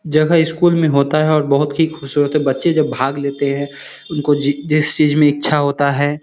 जब वह इस स्कूल मे होता है। बोहोत ही खुश होते हैं बच्चे जब भाग लेते हैं। उनको जिस चीज मे इच्छा होता है।